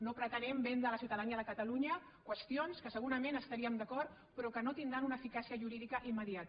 no pretenem vendre a la ciutadania de catalunya qüestions en què segurament estaríem d’acord però que no tindran una eficàcia jurídica immediata